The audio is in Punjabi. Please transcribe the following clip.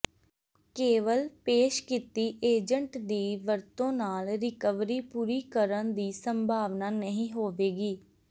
ਕੇਵਲ ਪੇਸ਼ ਕੀਤੀ ਏਜੰਟ ਦੀ ਵਰਤੋਂ ਨਾਲ ਰਿਕਵਰੀ ਪੂਰੀ ਕਰਨ ਦੀ ਸੰਭਾਵਨਾ ਨਹੀਂ ਹੋਵੇਗੀ